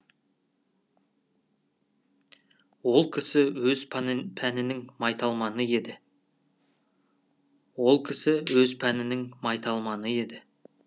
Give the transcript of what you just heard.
ол кісі өз пәнінің майталманы еді ол кісі өз пәнінің майталманы еді